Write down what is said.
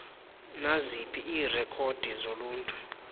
naziphi iirekhodi zoluntu